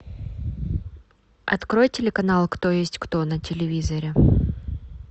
открой телеканал кто есть кто на телевизоре